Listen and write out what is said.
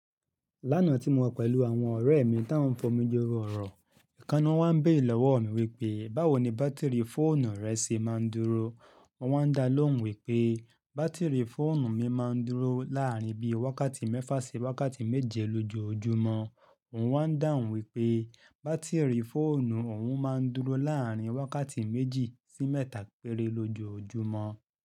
Lánàá tí mo wà pẹ̀lú àwọn ọ̀rẹ́ mi tó ń fọmi joro ọ̀rọ̀, ìkànnà wọ́n ń béèrè lọ́wọ́ mi wípé, báwo ni bátìrì fóònù rẹ ṣe máa ń dúró? Mo wá dá lóhùn wípé bátìrì fóònù mi máa ń dúró láàárín bí i wákàtí mẹ́fa sí wákàtí méje lójoojúmọ́. Òun wá ń dáhùn wípé bátìrì fóònù òun máa ń dúró láàárín wákàtí méjì sí mẹ́ta péré lójoojúmọ́.